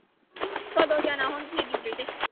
ਕਦੋਂ ਜਾਣਾ ਹੁਣ ਤੁਸੀਂ duty ਤੇ।